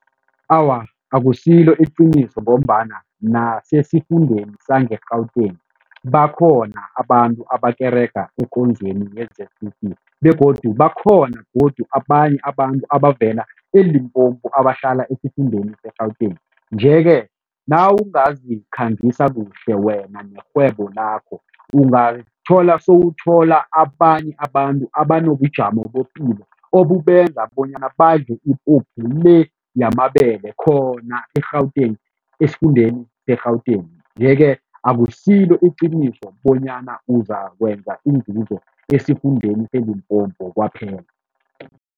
Awa, akusilo iqiniso ngombana nasesifundeni sange-Gauteng bakhona abantu abakerega ekonzweni ye-Z_C_C begodu bakhona godu abanye abantu abavela eLimpopo abahlala esifundeni se-Gauteng nje-ke nawungazikhangisa kuhle wena nerhwebo lakho, ungathola sewuthola abanye abantu abanobujamo bepilo obubenza bonyana badle ipuphu le yamabele khona e-Gauteng, esifundeni se-Gauteng yeke akusilo iqiniso bonyana uzakwenza inzuzo esifundeni seLimpopo kwaphela.